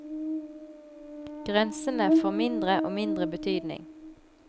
Grensene får mindre og mindre betydning.